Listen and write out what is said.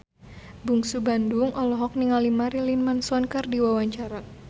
Bungsu Bandung olohok ningali Marilyn Manson keur diwawancara